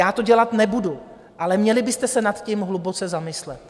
Já to dělat nebudu, ale měli byste se nad tím hluboce zamyslet.